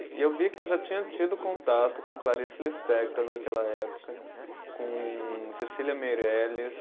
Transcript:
E eu vi que eu já tinha tido contato com Clarice Lispector naquela época, com Cecília Meirelles.